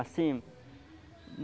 Assim.